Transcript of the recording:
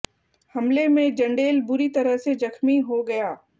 हमले में जंडेल बुरी तरह से जख्मी हो गया